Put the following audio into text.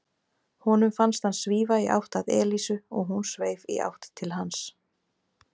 Honum fannst hann svífa í átt að Elísu og hún sveif í átt til hans.